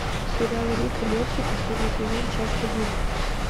сериал рик и морти последний сезон часть один